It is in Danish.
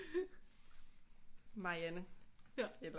Marianne eller